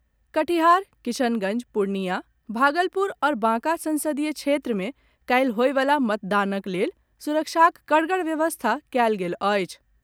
कटिहार, किशनगंज, पूर्णियाँ, भागलपुर आओर बांका संसदीय क्षेत्र मे काल्हि होयवला मतदानक लेल सुरक्षाक करगड़ व्यवस्था कयल गेल अछि।